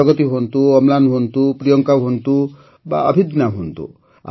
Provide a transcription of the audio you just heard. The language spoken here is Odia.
ପ୍ରଗତି ହୁଅନ୍ତୁ ଅମ୍ଳାନ ହୁଅନ୍ତୁ ପ୍ରିୟଙ୍କା ହୁଅନ୍ତୁ ବା ଅଭିଦନ୍ୟା ହୁଅନ୍ତୁ